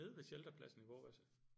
Nede ved shelterpladsen i Vorbasse